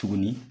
Tuguni